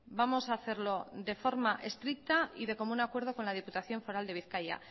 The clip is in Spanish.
vamos a hacerlo de forma estricta y de común acuerdo con la diputación foral de bizkaia